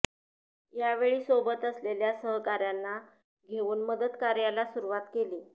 यावेळी सोबत असलेल्या सहकाऱ्यांना घेऊन मदतकार्याला सुरुवात केली